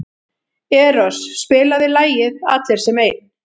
Eros, spilaðu lagið „Allir sem einn“.